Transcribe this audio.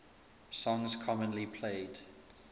songs commonly played